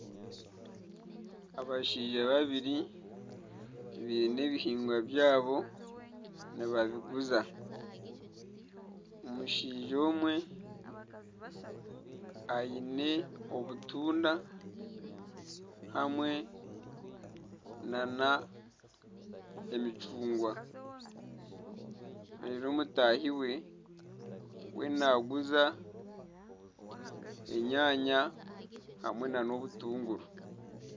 Abashaija babiri biine ebihingwa byabo nibabiguza. omushaija omwe aine obutunda hamwe n'emicugwa reeru mutaahi we we naaguza enyanya hamwe n'obutunguru.